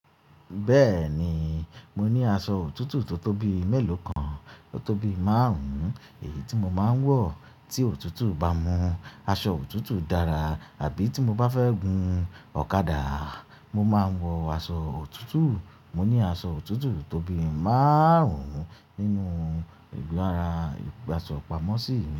Bẹ́ẹ̀ni, mo ní aṣọ òtútù tó tóbi mélòó kan, tó tóbi márùn-ún, èyí tí mo máa ń wọ̀ tí òtútù bá mú aṣọ òtútù dára àbí tí mo bá fẹ́ gun ọ̀kadà, mo máa ń wọ aṣọ òtútù. Mo ní aṣọ òtútù tóbi márùn-ún nínú ìgbó ara ìgbasọ̀ pamọ́ sí.